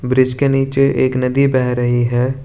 Bridge के नीचे एक नदी बह रही है।